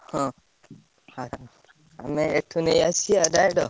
ହଁ ଆମେ ଏଠୁ ନେଇ ଆସିଆ ଯାଇଁଲ।